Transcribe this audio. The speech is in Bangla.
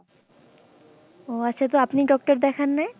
ও আচ্ছা তো আপনি doctor দেখান নাই?